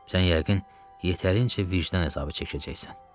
Sən yəqin yetərincə vicdan əzabı çəkəcəksən.